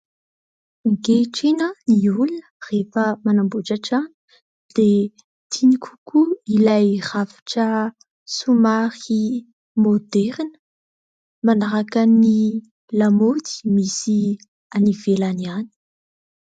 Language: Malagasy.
Ankehitriny ny olona rehefa manamboatra trano dia tiany kokoa ilay rafitra somary maoderina manaraka ny lamaody misy any ivelany any.